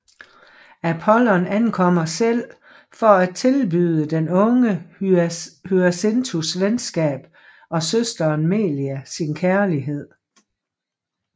Apollon ankommer selv for at tilbyde den unge Hyacinthus venskab og søsteren Melia sin kærlighed